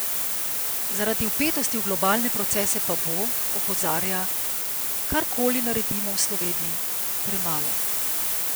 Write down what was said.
Zaradi vpetosti v globalne procese pa bo, opozarja, kar koli naredimo v Sloveniji, premalo.